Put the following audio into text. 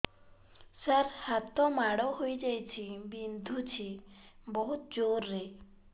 ସାର ହାତ ମାଡ଼ ହେଇଯାଇଛି ବିନ୍ଧୁଛି ବହୁତ ଜୋରରେ